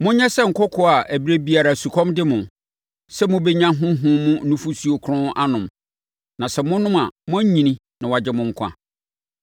Monyɛ sɛ nkɔkoaa a ɛberɛ biara sukɔm de mo, sɛ mobɛnya honhom mu nufosuo kronn anom, na sɛ monom a moanyini na wɔagye mo nkwa.